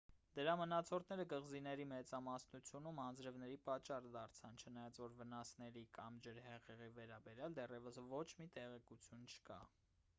դրա մնացորդները կղզիների մեծամասնությունում անձրևների պատճառ դարձան չնայած որ վնասների կամ ջրհեղեղի վերաբերյալ դեռևս ոչ մի տեղեկություն չկա